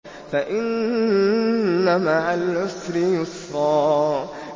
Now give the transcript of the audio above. فَإِنَّ مَعَ الْعُسْرِ يُسْرًا